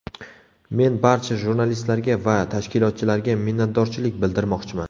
Men barcha jurnalistlarga va tashkilotchilarga minnatdorchilik bildirmoqchiman.